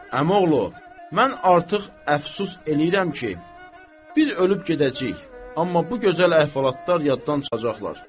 Əmioğlu, mən artıq əfsus eləyirəm ki, biz ölüb gedəcəyik, amma bu gözəl əhvalatlar yaddan çıxacaqlar.